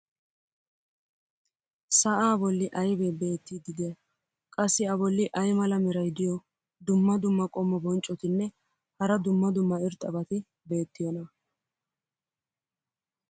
sa"aa boli aybee beetiidi diyay? qassi a boli ay mala meray diyo dumma dumma qommo bonccotinne hara dumma dumma irxxabati beetiyoonaa?